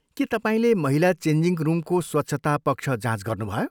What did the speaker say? के तपाईँले महिला चेन्जिङ रुमको स्वच्छता पक्ष जाँच गर्नुभयो?